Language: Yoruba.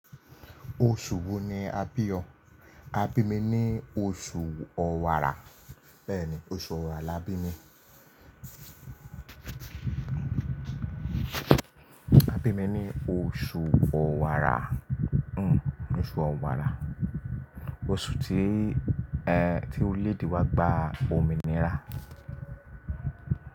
Oṣù wo ni a bí ọ? A bí mi ní oṣù ọ̀wàrà. Bẹ́ẹ̀ ni, oṣù ọ̀wàrà là bí mi. A bí mi ní oṣù ọ̀wàrà. Hmm oṣù ọ̀wàrà. Oṣù tí, ẹ, tí orílẹ̀-èdè wa gba òmìnira.